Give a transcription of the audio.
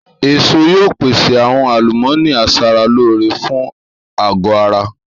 Èso yóò pèsè àwọn àlùmọ́ọ́nì aṣaralóore fún àgọ́ ara